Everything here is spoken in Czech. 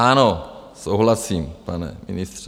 - Ano, souhlasím, pane ministře.